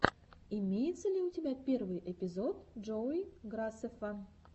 имеется ли у тебя первый эпизод джоуи грасеффа